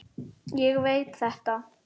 Ég veit þetta.